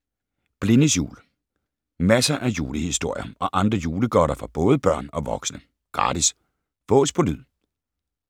Blindes jul Masser af julehistorier og andre julegodter for både børn og voksne. Gratis. Fås på lyd